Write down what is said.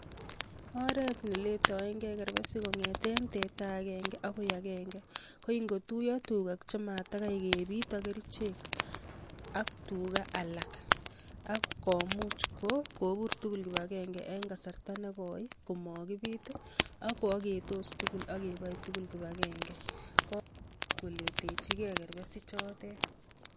Oret neletoenge kerbesik kongeten teta agenda bokoi agenge KO ingotuyo tugak chematakai kebiit ak kerichek ak tugaak alak ak kobuur tugul kibagenge en kasarta nekoi komokibit ak kooketos tugul ak keboe tugul kibagenge, komuuch koletechigee kebersik choteet.